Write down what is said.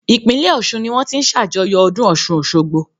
Ìpínlẹ̀ Ọ̀ṣun ní wọ́n ti ń ṣàjọyọ̀ ọdún Ọ̀ṣun Òṣogbo.